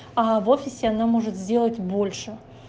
а в офисе она может сделать больше